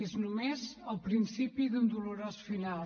és només el principi d’un dolorós final